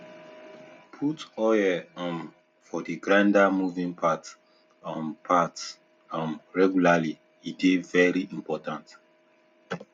put oil um for d grinder moving parts um parts um regularly e dey vey important